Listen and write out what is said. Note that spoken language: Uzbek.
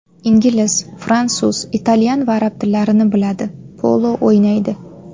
Ingliz, fransuz, italyan va arab tillarini biladi, polo o‘ynaydi.